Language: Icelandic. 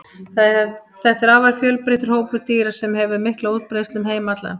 Þetta er afar fjölbreyttur hópur dýra sem hefur mikla útbreiðslu um heim allan.